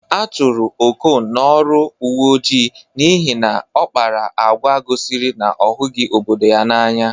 A chụrụ Okon n'ọrụ uwe ojii n'ihi na ọ kpara agwa gosiri na ọ hụghị obodo ya n'anya.